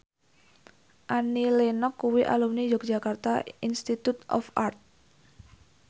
Annie Lenox kuwi alumni Yogyakarta Institute of Art